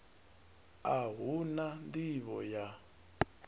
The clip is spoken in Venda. a hu na nḓivho ya